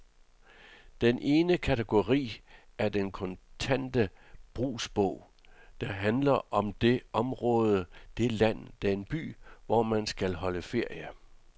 Den ene kategori er den kontante brugsbog, der handler om det område, det land, den by, hvor man skal holde ferie.